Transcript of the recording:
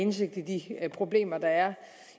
indsigt i de problemer der er